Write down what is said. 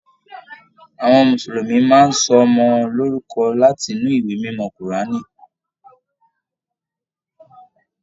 Àwọn Mùsùlùmí máa n sọ ọmọ lorúkọ láti inú ìwé mímọ kuraani.